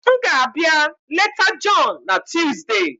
M ga-abịa leta John na Tuesday.